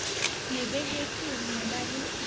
le behetsweng ho ba la